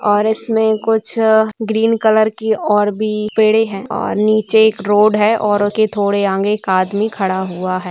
और इसमे कुछ ग्रीन कलर की और भी पेड़े है और नीचे एक रोड है और थोड़े आगे एक आदमी खड़ा हुआ है।